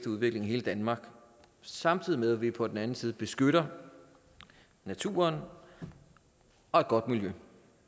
udvikling i hele danmark samtidig med at vi på den anden side beskytter naturen og et godt miljø